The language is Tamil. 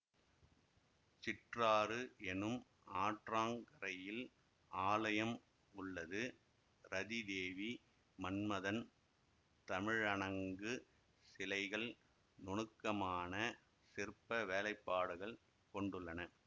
சிற்றாறு எனும் ஆற்றங் கரையில் ஆலயம் உள்ளது ரதிதேவி மன்மதன் தமிழணங்கு சிலைகள் நுணுக்கமான சிற்ப வேலைப்பாடுகள் கொண்டுள்ளன